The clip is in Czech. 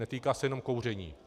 Netýká se jenom kouření.